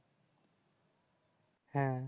হ্যাঁ